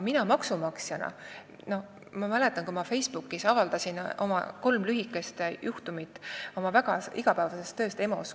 Ma mäletan, kui ma avaldasin Facebookis kolm lühikest juhtumit oma igapäevasest tööst EMO-s.